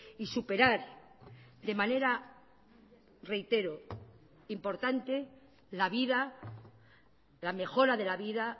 y superar de manera reitero importante la vida la mejora de la vida